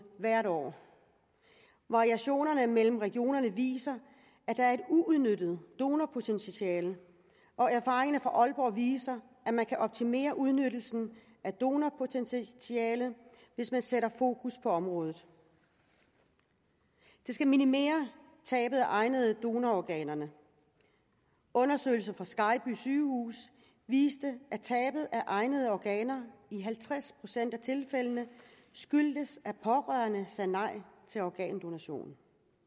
hvert år variationerne mellem regionerne viser at der er et uudnyttet donorpotentiale og erfaringerne fra aalborg viser at man kan optimere udnyttelsen af donorpotentialet hvis man sætter fokus på området det skal minimere tabet af egnede donororganer undersøgelser fra skejby sygehus viste at tabet af egnede organer i halvtreds procent af tilfældene skyldtes at pårørende sagde nej til organdonationen